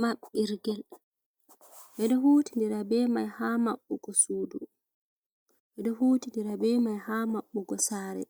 Mabbirgel edo huti ndira be mai ha maɓbugo sudu edo huti ndira be mai ha mabbugo sare